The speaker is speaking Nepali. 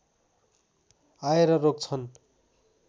आएर रोक्छन्